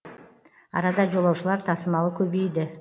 арада жолаушылар тасымалы көбейді